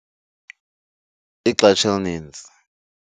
Ixesha elininzi.